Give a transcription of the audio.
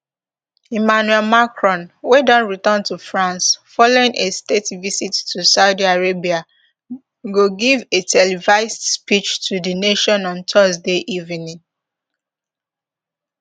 emmanuel macron wey don return to france following a state visit to saudi arabia go give a televised speech to di nation on thursday evening